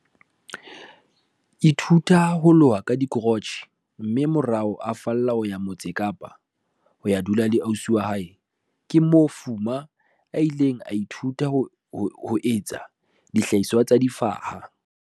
ithuta ho loha ka dikrotjhe mme morao a fallela Motse Kapa ho ya dula le ausi wa hae. Ke moo Fuma a ileng a ithuta ho etsa dihlahiswa tsa difaha,